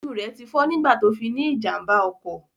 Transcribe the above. Ojú rẹ tí fọ́ nígbà tó fi ní ìjàmbá ọkọ̀